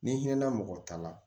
Ni hinɛ mɔgɔ ta la